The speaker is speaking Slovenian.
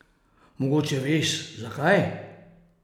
Mogoče veš, zakaj?